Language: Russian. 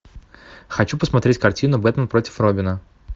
хочу посмотреть картину бэтмен против робина